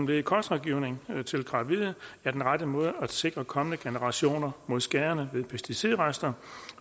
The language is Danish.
led i kostrådgivning til gravide er den rette måde at sikre kommende generationer mod skaderne ved pesticidrester